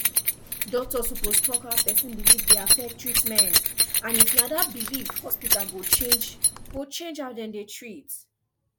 doctor suppose talk how person belief dey affect treatment and if na that belief hospital go change go change how dem dey treat